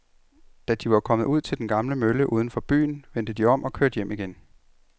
Da de var kommet ud til den gamle mølle uden for byen, vendte de om og kørte hjem igen.